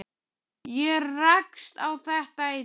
Ég rakst á þetta í dag.